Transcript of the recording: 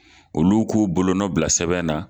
Olu k'u bolonɔ bila sɛbɛn na